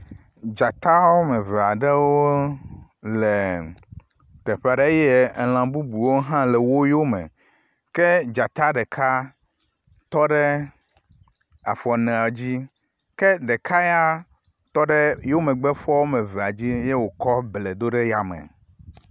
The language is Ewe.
Dzata woame eve aɖewo le teƒe aɖe eye elã bubu aɖewo hã le wo yome. Ke dzata ɖeka tɔ ɖe afɔ enea dzi, ke ɖeka ya tɔ ɖe yewo megbe fɔ woame evea dzi ye wòkɔ ble do ɖe yame.